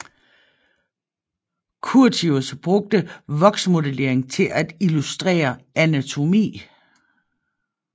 Curtius brugte voksmodellering til at illustrere anatomi